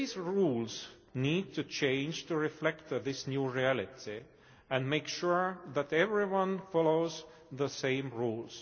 Today's rules need to change to reflect this new reality, and make sure that everyone follows the same rules.